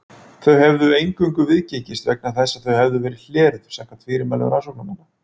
Þau hefðu eingöngu viðgengist vegna þess að þau hefðu verið hleruð samkvæmt fyrirmælum rannsóknarmanna.